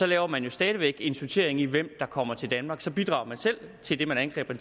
laver man jo stadig væk en sortering af hvem der kommer til danmark og så bidrager man selv til det man angriber